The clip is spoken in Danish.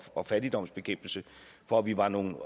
og fattigdomsbekæmpelse for at vi var nogle